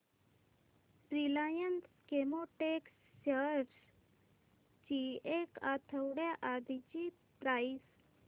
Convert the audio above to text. Reliance Chemotex shares ची एक आठवड्या आधीची प्राइस